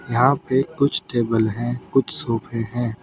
यहां पे कुछ टेबल हैं कुछ सोफे हैं।